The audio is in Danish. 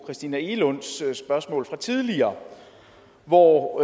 christina egelunds spørgsmål tidligere hvor